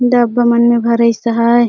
डब्बा मन में भरिस आहाये।